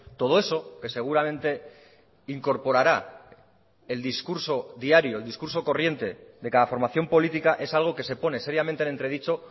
todo eso que seguramente incorporará el discurso diario el discurso corriente de cada formación política es algo que se pone seriamente en entredicho